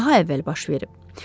Daha əvvəl başlayıb.